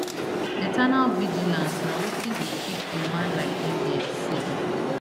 eternal vigilance na wetin dey keep a man like mbs safe